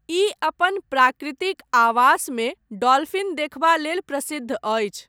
ई अपन प्राकृतिक आवासमे डॉलफिन देखबा लेल प्रसिद्ध अछि।